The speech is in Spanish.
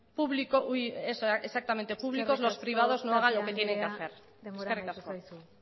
públicos los privados no hagan lo que tienen que hacer eskerrik asko eskerrik asko tapia andrea denbora amaitu zaizu